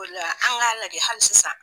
O la an g'a lagɛ hali sisan